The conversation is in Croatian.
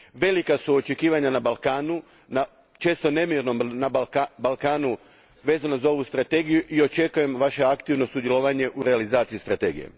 Velika su očekivanja na Balkanu, na često nemirnom Balkanu, vezano za ovu strategiju i očekujem vaše aktivno sudjelovanje u realizaciji strategije.